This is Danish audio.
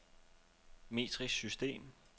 metrisk system